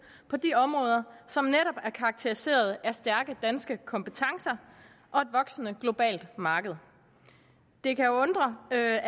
på de områder som netop er karakteriseret af stærke danske kompetencer og et voksende globalt marked det kan undre at